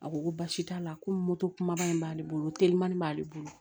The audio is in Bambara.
A ko ko baasi t'a la komi moto kumaba in b'ale bolo o telimani b'ale bolo